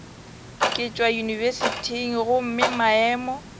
ke tšwa yunibesithing gomme maemo